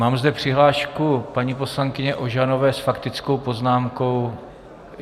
Mám zde přihlášku paní poslankyně Ožanové s faktickou poznámkou.